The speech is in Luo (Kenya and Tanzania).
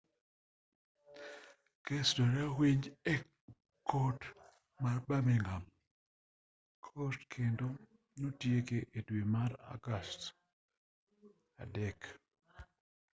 kesno ne owinji e kot ma birmingham crown court kendo notieke e dwe mar agost 3